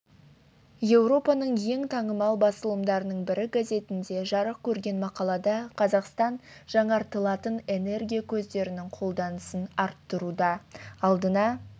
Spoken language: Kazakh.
еуропаның ең танымал басылымдарының бірі газетінде жарық көрген мақалада қазақстан жаңартылатын энергия көздерінің қолданысын арттыруда алдына